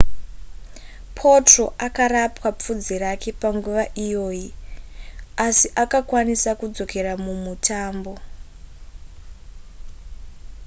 potro akarapwa pfudzi rake panguva iyoyi asi akakwanisa kudzokera mumutambo